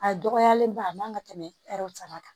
A dɔgɔyalenba a man ka tɛmɛ saba kan